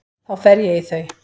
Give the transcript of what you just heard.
Þá fer ég í þau.